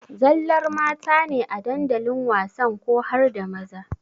Zallar mata ne a dandalin wasan ko harda maza?